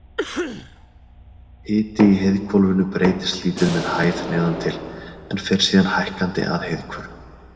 Hiti í heiðhvolfinu breytist lítið með hæð neðan til, en fer síðan hækkandi að heiðhvörfum.